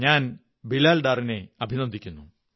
ഞാൻ ബിലാൽ ഡാറിനെ അഭിനന്ദിക്കുന്നു